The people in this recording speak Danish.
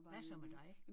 Hvad så med dig?